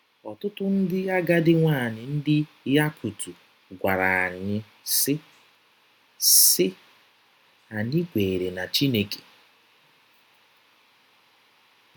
Ọtụtụ ndị agadi nwaanyị ndị Yakut gwara anyị, sị: “ sị: “ Anyị kweere na Chineke.